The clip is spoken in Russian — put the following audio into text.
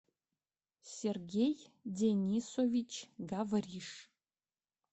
сергей денисович гавриш